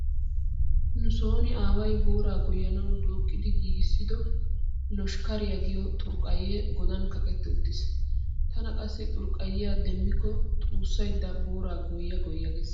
Nu sooni aaway booraa goyyanawu dooqqi giigissido loshkkaariya giyo xurqqayyee godan kaqetti uttiis. Tana qassi xurqqayyiya demmikko xuussaydda booraa goyya goyya gees.